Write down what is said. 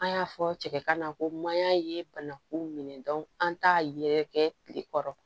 An y'a fɔ cɛ kana ko mayan ye banakun minɛ an t'a yɛrɛkɛ tile kɔrɔ